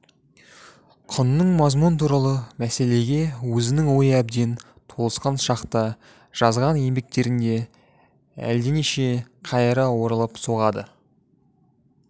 құнның мазмұны туралы мәселеге өзінің ойы әбден толысқан шақта жазған еңбектерінде әлденеше қайыра оралып соғады